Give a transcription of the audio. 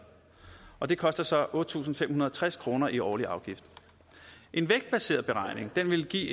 og det koster så otte tusind fem hundrede og tres kroner i årlig afgift en vægtbaseret beregning vil give